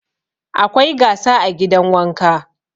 Akwai gasa a gidan wanka.